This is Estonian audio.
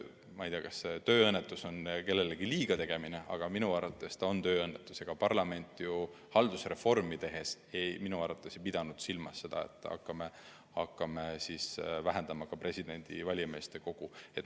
Ma ei tea, kas teen sedasi öeldes kellelegi liiga, aga minu arvates on see tööõnnetus, sest parlament haldusreformi tehes ei pidanud minu arvates silmas seda, et hakkame vähendama ka valijameeste kogu.